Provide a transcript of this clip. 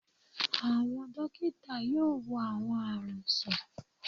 Àwọn dókítà yóò wo àwọn àrùn sàn